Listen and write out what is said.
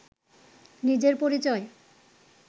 নিজের পরিচয়